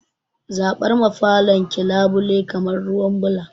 Zaɓar ma falon ki labule kalar ruwan ɓula